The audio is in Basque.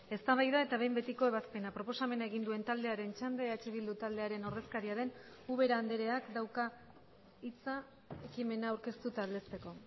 eztabaida eta behin betiko ebazpena proposamena egin duen taldearen txanda eh bildu taldearen ordezkaria den ubera andreak dauka hitza ekimena aurkeztu eta aldezteko